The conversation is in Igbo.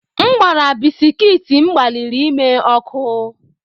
M gbara bisikiiti m gbalịrị ime ọkụ.